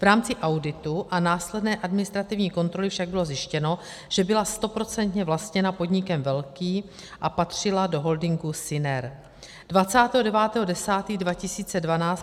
V rámci auditu a následné administrativní kontroly však bylo zjištěno, že byla stoprocentně vlastněna podnikem velkým a patřila do holdingu Syner.